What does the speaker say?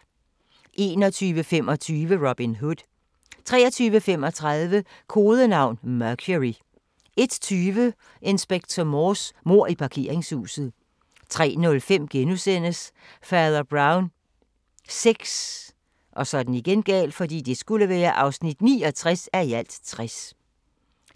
21:25: Robin Hood 23:35: Kodenavn: Mercury 01:20: Inspector Morse: Mord i parkeringshuset 03:05: Fader Brown VI (69:60)*